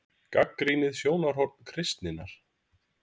GAGNRÝNIÐ SJÓNARHORN KRISTINNAR